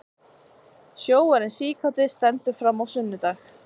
Sjóarinn síkáti stendur fram á sunnudag